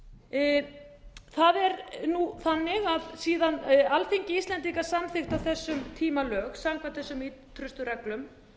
og var það er þannig að síðan alþingi íslendinga samþykkti á þessum tíma lög samkvæmt þessum ýtrustu reglum